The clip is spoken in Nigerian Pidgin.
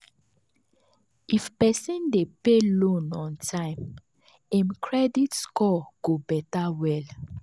if person dey pay loan on time him credit score go better well.